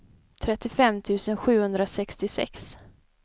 trettiofem tusen sjuhundrasextiosex